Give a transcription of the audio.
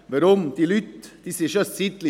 Weshalb? – Die Leute sind schon eine Weile hier.